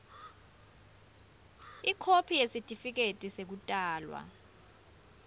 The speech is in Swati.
ikhophi yesitifiketi sekutalwa